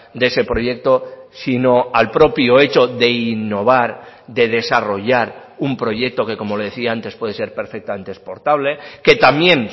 de ese proyecto sino al propio hecho de innovar de desarrollar un proyecto que como le decía antes puede ser perfectamente exportable que también